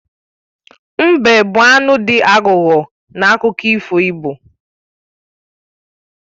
Mbe bụ anụ dị aghụghọ n'akụkọ ifo igbo